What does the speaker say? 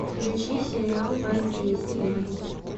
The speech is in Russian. включи сериал воздействие